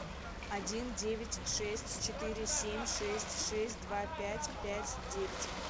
один девять шесть четыре семь шесть шесть два пять пять девять